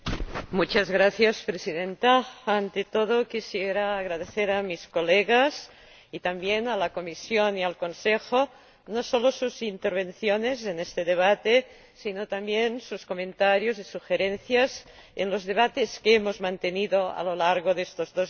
Señora Presidenta, ante todo quisiera agradecer a mis colegas, y también a la Comisión y al Consejo, no solo sus intervenciones en este debate, sino también sus comentarios y sugerencias en los debates que hemos mantenido a lo largo de estos dos años.